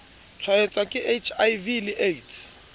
tshwaetswa ke hiv le aids